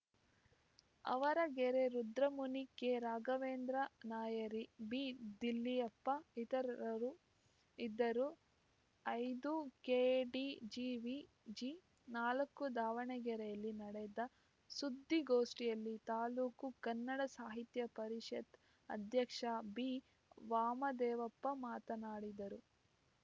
ಆವರಗೆರೆ ರುದ್ರಮುನಿ ಕೆರಾಘವೇಂದ್ರ ನಾಯರಿ ಬಿದಿಳ್ಯಪ್ಪ ಇತರರು ಇದ್ದರು ಐದು ಕೆಡಿಜಿವಿಜಿ ನಾಲ್ಕು ದಾವಣಗೆರೆಯಲ್ಲಿ ನಡೆದ ಸುದ್ದಿಗೋಷ್ಠಿಯಲ್ಲಿ ತಾಲುಕು ಕನ್ನಡ ಸಾಹಿತ್ಯ ಪರಿಷತ್ ಅಧ್ಯಕ್ಷ ಬಿವಾಮದೇವಪ್ಪ ಮಾತನಾಡಿದರು